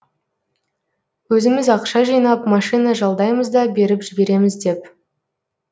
өзіміз ақша жинап машина жалдаймыз да беріп жібереміз деп